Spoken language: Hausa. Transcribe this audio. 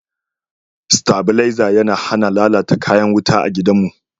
stabileza ya hana lallata kayan wuta a gidan mu